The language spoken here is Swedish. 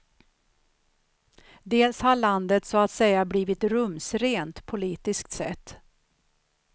Dels har landet så att säga blivit rumsrent, politiskt sett.